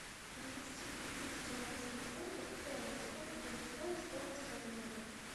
перевести три тысячи английских фунтов в тенге сколько будет стоить стоимость обмена